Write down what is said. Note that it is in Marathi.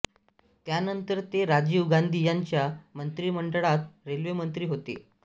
त्यानन्तर ते राजीव गान्धी यांच्या मन्त्रीमण्डळात रेल्वेमन्त्री होते